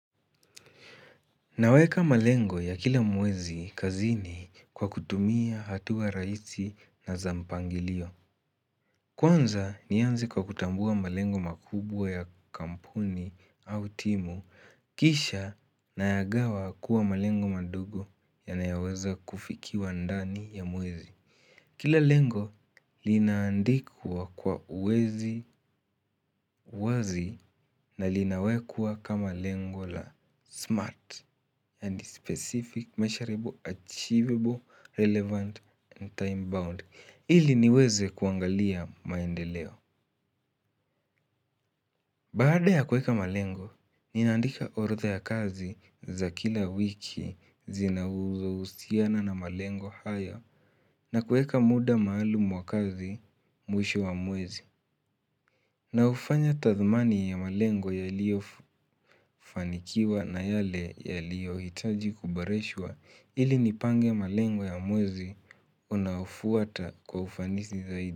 Naweka malengo ya kila mwezi kazini kwa kutumia hatua rahisi na za mpangilio. Kwanza nianze kwa kutambua malengo makubwa ya kampuni au timu, kisha nayagawa kuwa malengo madogo yanayoweza kufikiwa ndani ya mwezi. Kila lengo linaandikwa kwa uwazi na linawekwa kama lengo la SMART specific, measurable achievable relevant and time bound. Ili niweze kuangalia maendeleo. Baaada ya kuweka malengo, ninaandika orodha ya kazi za kila wiki zinazohusiana na malengo haya na kuweka muda maalumu wa kazi mwisho wa mwezi. Naufanya tathmani ya malengo yaliyofanikiwa na yale yaliyoitaji kuboreshwa ili nipanve malengo ya mwezi unaufuata kwa ufanisi zaidi.